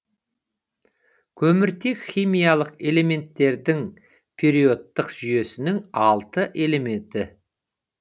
көміртек химиялық элементтердің периодтық жүйесінің алты элементі